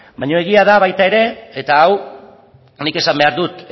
baino egia da baita ere eta hau nik esan behar dut